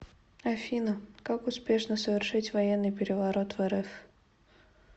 афина как успешно совершить военный переворот в рф